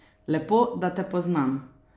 Lepo, da te poznam?